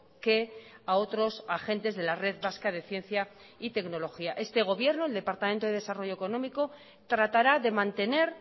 que a otros agentes de la red vasca de ciencia y tecnología este gobierno el departamento de desarrollo económico tratará de mantener